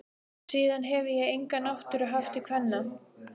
Síðan hefi ég enga náttúru haft til kvenna.